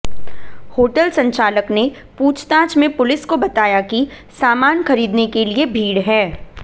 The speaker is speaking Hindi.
होटल संचालक ने पूछताछ में पुलिस को बताया कि सामान खरीदने के लिये भीड़ है